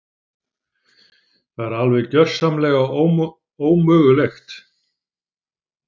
Það er alveg gjörsamlega ómögulegt.